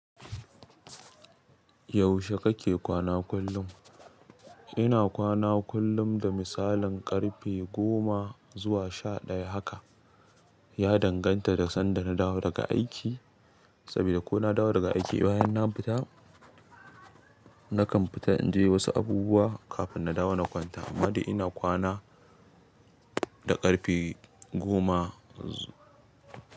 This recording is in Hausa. Yaushe kake kwana kullum? Ina kwana kullum da misalin ƙarfe goma zuwa sha ɗaya haka. Ya danganta da sanda na dawo daga aiki, saboda ko na dawo daga aiki bayan na fita, nakan fita in je wasu abubuwa kafin na dawo na kwanta. Amma dai ina kwana da ƙarfe goa.